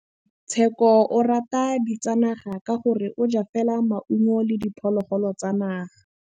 Tshekô o rata ditsanaga ka gore o ja fela maungo le diphologolo tsa naga.